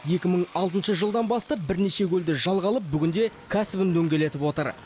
екі мың алтыншы жылдан бастап бірнеше көлді жалға алып бүгінде кәсібін дөңгелетіп отыр